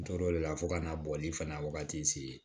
N tor'o de la fo ka n'a bɔli fana wagati se